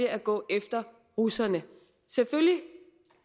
at gå efter russerne selvfølgelig